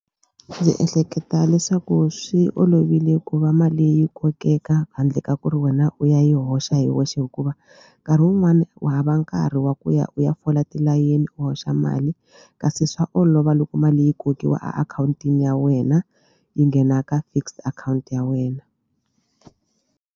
Ndzi ehleketa leswaku swi olovile ku va mali yi kokeka handle ka ku ri wena u ya yi hoxa hi wexe hikuva nkarhi wun'wani u hava nkarhi wa ku ya u ya fola tilayeni u hoxa mali kasi swa olova loko mali yi kokiwa a akhawuntini ya wena yi nghena ka fixed akhawunti ya wena.